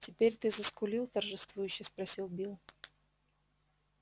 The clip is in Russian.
теперь ты заскулил торжествующе спросил билл